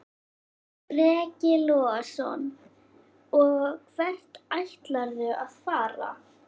Breki Logason: Og hvert ætlarðu að fara?